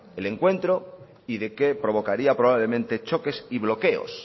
el encuentro y que provocaría probablemente choques y bloqueos